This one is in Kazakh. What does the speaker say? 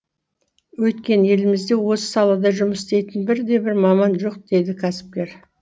өйткені елімізде осы салада жұмыс істейтін бірде бір маман жоқ дейді кәсіпкер